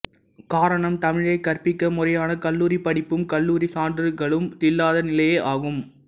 காரணம் தமிழைக் கற்பிக்க முறையான கல்லூரிப் படிப்பும் கல்லூரி சான்றுகளும் இல்லாத நிலையே ஆகும்